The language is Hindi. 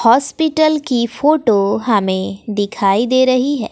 हॉस्पिटल की फोटो हमें दिखाई दे रही है।